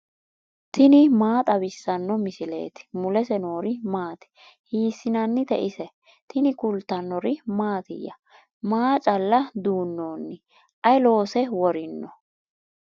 tini maa xawissanno misileeti ? mulese noori maati ? hiissinannite ise ? tini kultannori mattiya? Maa calla duunnonni? Ayi loose worinno?